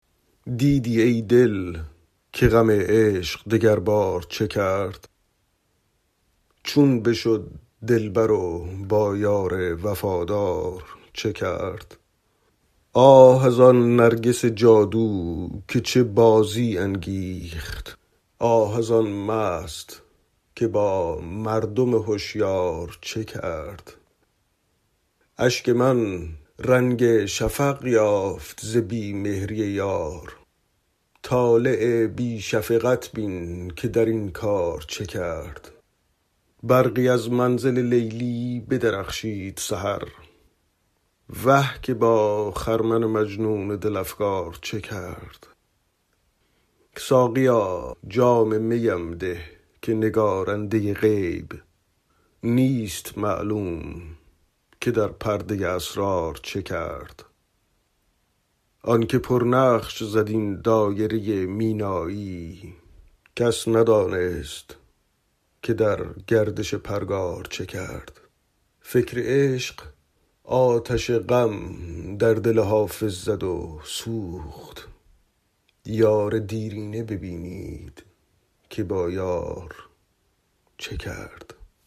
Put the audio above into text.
دیدی ای دل که غم عشق دگربار چه کرد چون بشد دلبر و با یار وفادار چه کرد آه از آن نرگس جادو که چه بازی انگیخت آه از آن مست که با مردم هشیار چه کرد اشک من رنگ شفق یافت ز بی مهری یار طالع بی شفقت بین که در این کار چه کرد برقی از منزل لیلی بدرخشید سحر وه که با خرمن مجنون دل افگار چه کرد ساقیا جام می ام ده که نگارنده غیب نیست معلوم که در پرده اسرار چه کرد آن که پرنقش زد این دایره مینایی کس ندانست که در گردش پرگار چه کرد فکر عشق آتش غم در دل حافظ زد و سوخت یار دیرینه ببینید که با یار چه کرد